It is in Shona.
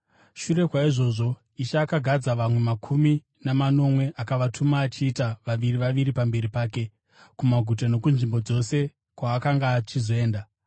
Shure kwaizvozvo Ishe akagadza vamwe makumi manomwe akavatuma achiita vaviri vaviri pamberi pake kumaguta nokunzvimbo dzose kwaakanga achizoenda.